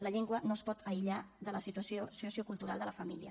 la llengua no es pot aïllar de la situació sociocultural de la família